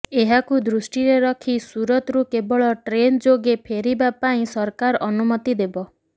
ଏହାକୁ ଦୃଷ୍ଟିରେ ରଖି ସୁରତରୁ କେବଳ ଟ୍ରେନ୍ ଯୋଗେ ଫେରିବା ପାଇଁ ସରକାର ଅନୁମତି ଦେବ